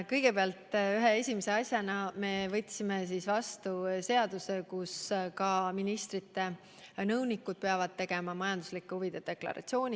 Kõigepealt, ühe esimese asjana me võtsime vastu seaduse, mille järgi peavad nüüdsest ka ministrite nõunikud esitama majanduslike huvide deklaratsiooni.